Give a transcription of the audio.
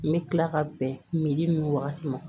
N bɛ tila ka bɛn ninnu wagati ma